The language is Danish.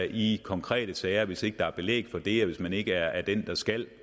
i konkrete sager hvis ikke der er belæg for det og hvis man ikke er den der skal